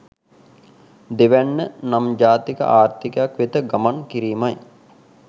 දෙවැන්න නම් ජාතික ආර්ථිකයක් වෙත ගමන් කිරීමයි.